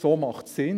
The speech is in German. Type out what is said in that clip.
So macht es Sinn.